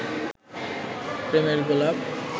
প্রেমের গোলাপ